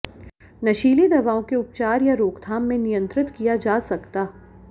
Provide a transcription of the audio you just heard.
नशीली दवाओं के उपचार या रोकथाम में नियंत्रित किया जा सकता